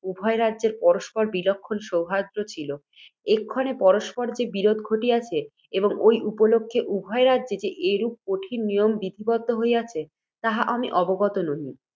উভয় রাজ্যের পরস্পর বিলক্ষণ সৌহৃদ্য ছিল। এক্ষণে পরস্পর যে বিরোধ ঘটিয়াছে, এবং ঐ উপলক্ষে উভয় রাজ্যে যে এরূপ কঠিন নিয়ম বিধিবদ্ধ হইয়াছে, তাহা আমি অবগত নহি।